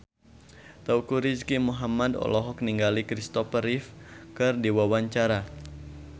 Teuku Rizky Muhammad olohok ningali Kristopher Reeve keur diwawancara